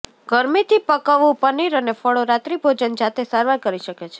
ગરમીથી પકવવું પનીર અને ફળો રાત્રિભોજન જાતે સારવાર કરી શકે છે